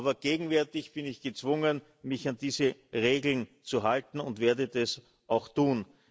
Aber gegenwärtig bin ich gezwungen, mich an diese Regeln zu halten, und werde das auch tun.